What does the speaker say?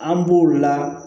An b'o la